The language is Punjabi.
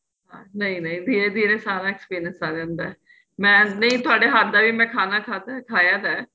ਨਹੀਂ ਨਹੀਂ ਧੀਰੇ ਧੀਰੇ ਸਾਰਾ experience ਆਂ ਜਾਂਦਾ ਏ ਮੈਂ ਨਹੀਂ ਤੁਹਾਡੇ ਹੱਥ ਦਾ ਵੀ ਮੈਂ ਖਾਣਾ ਖਾਦਾਂ ਖਾਇਆ ਤਾਂ ਏ